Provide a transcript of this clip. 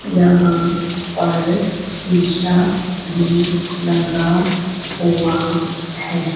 यहां पर शिशा भी लगा हुआ है।